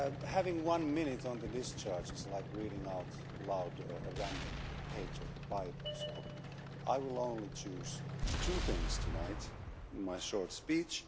Having one minute on the discharge is like reading out loud a random page of the Bible so I will only choose two things tonight in my short speech.